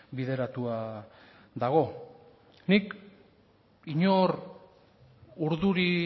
bideratua dago nik inor urduri